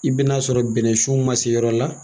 I ben'a sɔrɔ bɛnɛsun ma se yɔrɔ la